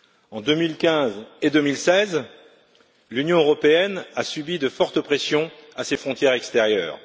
En 2015 et 2016, l'Union européenne a subi de fortes pressions à ses frontières extérieures.